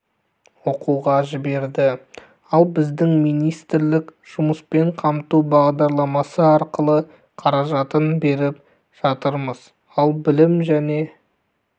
оқуға жіберді ал біздің министрлік жұмыспен қамту бағдарламасы арқылы қаражатын беріп жатырмыз ал білім және